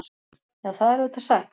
Já, það er auðvitað satt.